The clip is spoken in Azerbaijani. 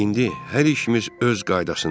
İndi hər işimiz öz qaydasındadır.